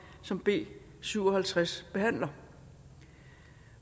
som b syv og halvtreds behandler